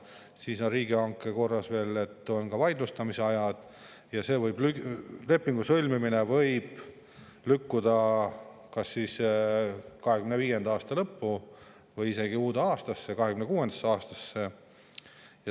Siis on riigihanke korra alusel veel ka vaidlustamise aeg ja lepingu sõlmimine võib lükkuda kas 2025. aasta lõppu või isegi uude, 2026. aastasse.